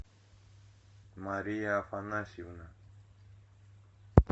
мария афанасьевна